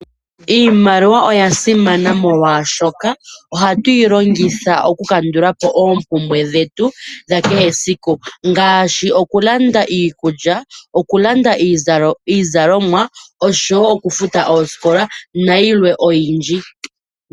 Iimaliwa oya simana molwaashoka ohatu yi longiytha okukandula po oompumbwe dhetu dha kehe esiku, ngaashi okulanda iikulya, okulanda iizalomwa osho wo okufuta oosikola , nayilwe oyindji.